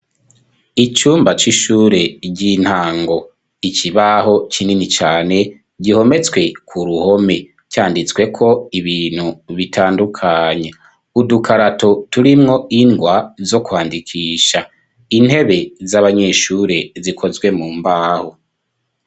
Icumba c'ishure, ry'intango; ikibaho, kinini cane, gihometswe ku ruhome, canditsweko, ibintu bitandukanye; udukarato, turimwo ingwa, zo kwandikisha; intebe z'abanyeshure, zikozwe mu mbaho.